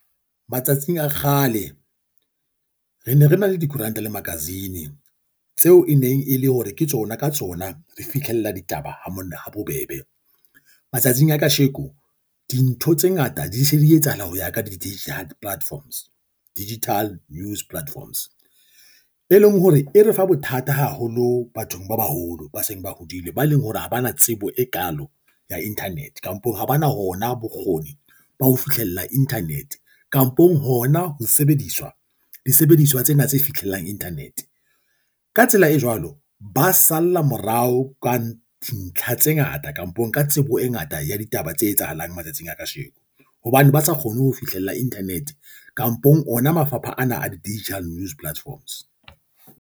Matsatsing a kgale, re ne re na le dikoranta le magazine tseo e neng e le hore ke tsona ka tsona re fihlella ditaba ha bobebe. Matsatsing a kasheko dintho tse ngata di se di etsahala ho ya ka di-digital platforms, digital news platforms, e e leng hore e re fa bothata haholo bathong ba baholo ba seng ba hodile ba leng hore ha ba na tsebo e kalo ya internet, kampong ha bana hona bokgoni ba ho fihlella internet, kampong hona ho sebedisa disebediswa tsena tse fitlhelang internet. Ka tsela e jwalo, ba salla morao ka dintlha tse ngata kampong ka tsebo e ngata ya ditaba tse etsahalang matsatsing a kasheko, hobane ba sa kgone ho fihlella internet kampong ona mafapha ana a di-digital news platforms.